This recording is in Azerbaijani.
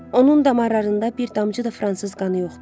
Onun damarlarında bir damcı da fransız qanı yoxdur.